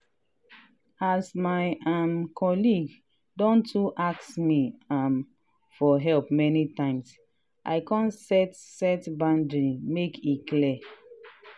as my um colleague don too ask me um for help many times i come set set boundary make e clear.